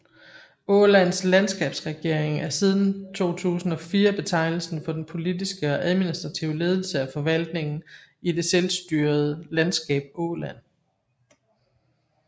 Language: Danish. Ålands landskapsregering er siden 2004 betegnelsen for den politiske og administrative ledelse af forvaltningen i det selstyrede landskab Åland